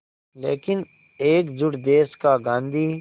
लेकिन एकजुट देश का गांधी